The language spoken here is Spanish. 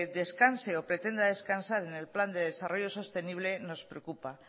descanse o pretenda descansar en el plan de desarrollo sostenible nos preocupa